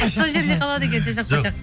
сол жерде қалады екен